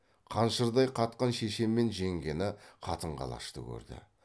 қаншырдай қатқан шеше мен жеңгені қатын қалашты көрді